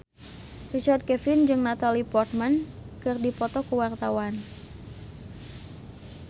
Richard Kevin jeung Natalie Portman keur dipoto ku wartawan